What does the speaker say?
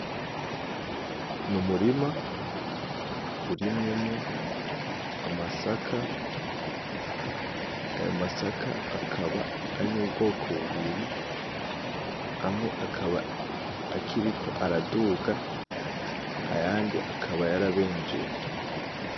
Ni umurima urimwemwo amasaka ayo masaka akaba ari mu bwoko bubiri amwe akaba akiriko araduga ayandi akaba y'arabenjeye.